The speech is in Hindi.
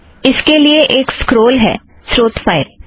इसके लिए एक स्क्रोल है स्रोत फ़ाइल